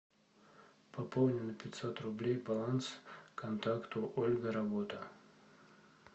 пополни на пятьсот рублей баланс контакту ольга работа